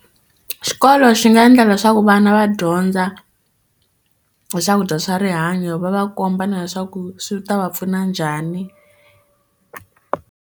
Xikolo xi nga endla leswaku vana va dyondza hi swakudya swa rihanyo va va komba na leswaku swi ta va pfuna njhani.